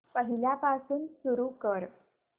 पहिल्यापासून सुरू कर